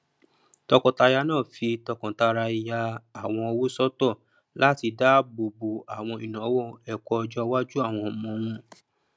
tọkọtaya náà fí tọkàntara ya àwọn owó sọtọ latí dábò bo àwọn ìnáwó ẹkọ ọjọ iwájú àwọn ọmọ wọn